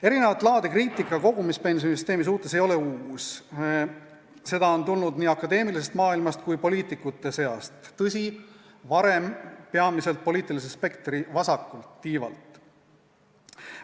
Erinevat laadi kriitika kogumispensioni süsteemi suhtes ei ole uus, seda on tulnud nii akadeemilisest maailmast kui ka poliitikute seast, tõsi, varem peamiselt poliitilise spektri vasakult tiivalt.